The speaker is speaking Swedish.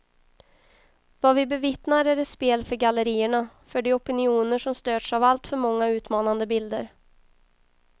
Vad vi bevittnar är ett spel för gallerierna, för de opinioner som störts av allför många utmanande bilder.